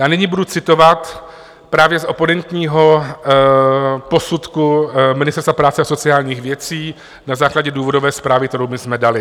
Já nyní budu citovat právě z oponentního posudku Ministerstva práce a sociálních věcí na základě důvodové zprávy, kterou my jsme dali.